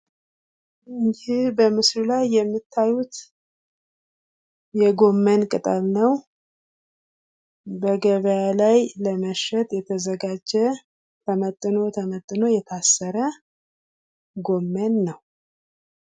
ይህ በምስሉ ላይ የምታዩት የጎመን ቅጠል ነው። በገበያ ላይ ለመሸጥ የተዘጋጀ ተመጥኖ ተመጥኖ የታሰረ ጎመን ነው።